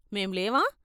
మేం లేవా?